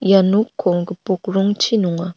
ia nokko gipok rongchi nonga.